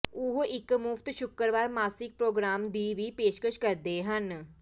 ਉਹ ਇੱਕ ਮੁਫਤ ਸ਼ੁੱਕਰਵਾਰ ਮਾਸਿਕ ਪ੍ਰੋਗਰਾਮ ਦੀ ਵੀ ਪੇਸ਼ਕਸ਼ ਕਰਦੇ ਹਨ